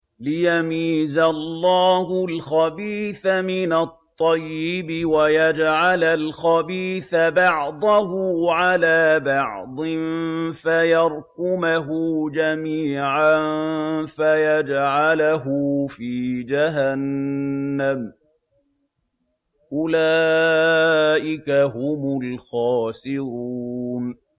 لِيَمِيزَ اللَّهُ الْخَبِيثَ مِنَ الطَّيِّبِ وَيَجْعَلَ الْخَبِيثَ بَعْضَهُ عَلَىٰ بَعْضٍ فَيَرْكُمَهُ جَمِيعًا فَيَجْعَلَهُ فِي جَهَنَّمَ ۚ أُولَٰئِكَ هُمُ الْخَاسِرُونَ